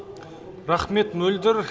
рахмет мөлдір